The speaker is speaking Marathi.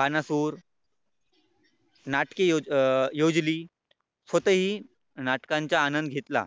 भानापूर नाटकी अं योजली. स्वतःही नाटकांच्या आनंद घेतला